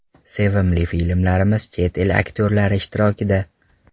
Sevimli filmlarimiz chet el aktyorlari ishtirokida .